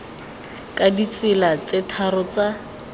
ka ditsela tse tharo tsa